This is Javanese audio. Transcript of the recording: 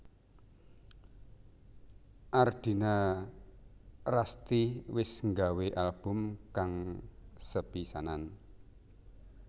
Ardina Rasti wis nggawé album kang sepisanan